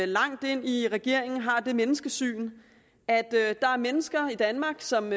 langt ind i regeringen har det menneskesyn at der er mennesker i danmark som